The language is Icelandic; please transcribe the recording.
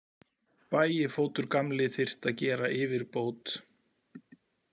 Bægifótur gamli þyrfti að gera yfirbót.